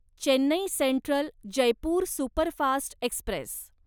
Chennai central Jaipur superfast Express